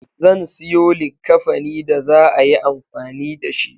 Zan siyo likkafani da za'a yi amfani dashi